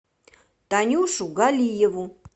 танюшу галиеву